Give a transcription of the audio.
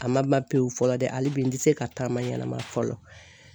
A ma ban pewu fɔlɔ dɛ hali bi n ti se ka taama ɲɛnama fɔlɔ.